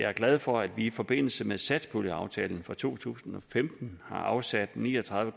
er glad for at vi i forbindelse med satspuljeaftalen for to tusind og femten har afsat ni og tredive